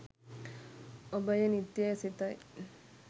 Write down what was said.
ඔබ එය නිත්‍ය යැයි සිතයි.